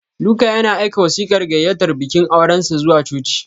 Luka yana aika wasiƙar gayyatar bikin aurensa zuwa coci.